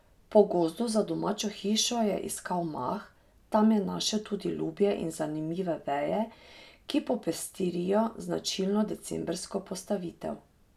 Po gozdu za domačo hišo je iskal mah, tam je našel tudi lubje in zanimive veje, ki popestrijo značilno decembrsko postavitev.